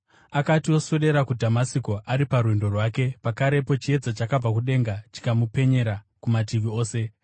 Akati oswedera kuDhamasiko ari parwendo rwake, pakarepo chiedza chakabva kudenga chikamupenyera kumativi ose.